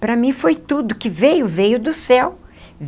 Para mim foi tudo que veio, veio do céu.